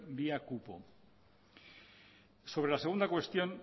vía cupo sobre la segunda cuestión